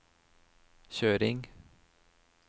kjøring